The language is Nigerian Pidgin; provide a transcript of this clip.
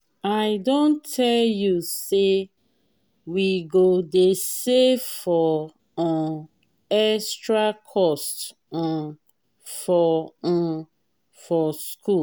i don tell you sey we go dey save for um extra cost um for um for skool.